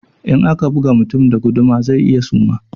In aka buga mutum da guduma zai iya suma